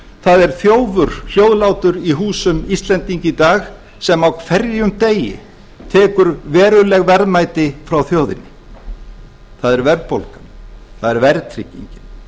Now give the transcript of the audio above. það er þjófur hljóðlátur í húsum íslendinga í dag sem á hverjum degi tekur veruleg verðmæti frá þjóðinni það er verðbólgan það er verðtryggingin